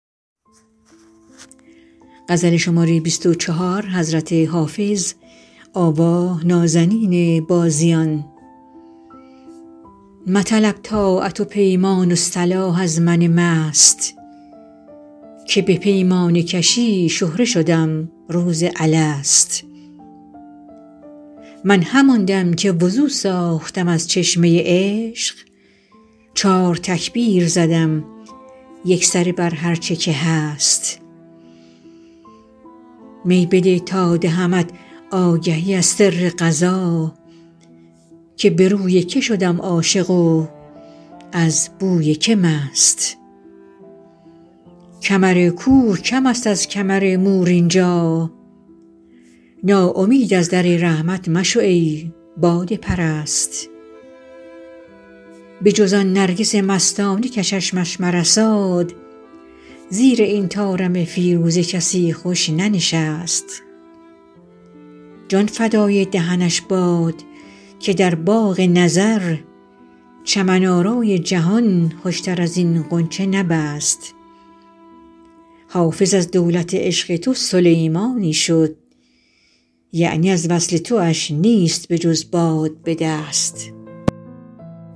مطلب طاعت و پیمان و صلاح از من مست که به پیمانه کشی شهره شدم روز الست من همان دم که وضو ساختم از چشمه عشق چار تکبیر زدم یکسره بر هرچه که هست می بده تا دهمت آگهی از سر قضا که به روی که شدم عاشق و از بوی که مست کمر کوه کم است از کمر مور اینجا ناامید از در رحمت مشو ای باده پرست بجز آن نرگس مستانه که چشمش مرساد زیر این طارم فیروزه کسی خوش ننشست جان فدای دهنش باد که در باغ نظر چمن آرای جهان خوشتر از این غنچه نبست حافظ از دولت عشق تو سلیمانی شد یعنی از وصل تواش نیست بجز باد به دست